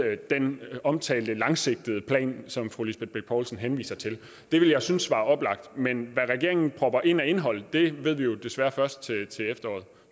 den omtalte langsigtede plan som fru lisbeth bech poulsen henviser til det ville jeg synes var oplagt men hvad regeringen propper ind af indhold ved vi jo desværre først